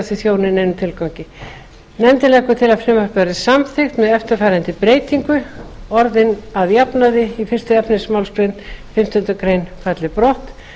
þau þjóni neinum tilgangi nefndin leggur til að frumvarpið verði samþykkt með eftirfarandi breytingu orðin að jafnaði í fyrsta efnismálsl fimmtu grein falli brott